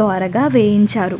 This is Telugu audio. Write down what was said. ద్వారాగా వేయించారు.